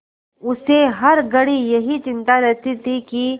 उसे हर घड़ी यही चिंता रहती थी कि